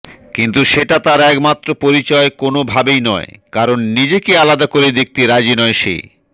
কিন্তু সেটা তার একমাত্র পরিচয় কোনওভাবেই নয় কারণ নিজেকে আলাদা করে দেখতে রাজি নয় সে